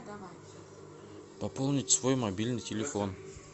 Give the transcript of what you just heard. пополнить свой мобильный телефон